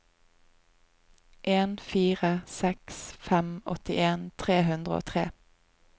en fire seks fem åttien tre hundre og tre